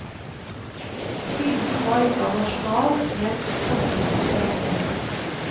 Fienden var ikke av nasjonal, men klassemessig karakter.